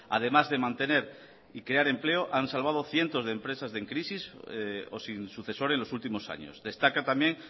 además de mantener y crear empleo han salvado cientos de empresas en crisis o sin sucesor en los últimos años destaca también